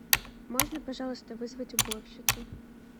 можно пожалуйста вызвать уборщицу